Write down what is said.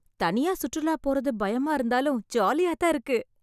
தனியா சுற்றுலா போறது பயமா இருந்தாலும், ஜாலியாதான் இருக்கு.